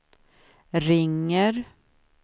ringer